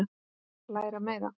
Læra meira?